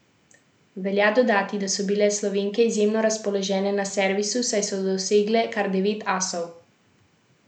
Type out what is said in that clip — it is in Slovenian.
Velja dodati, da so bile Slovenke izjemno razpoložene na servisu, saj so dosegle kar devet asov.